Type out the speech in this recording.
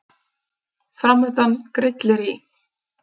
Framundan grillir í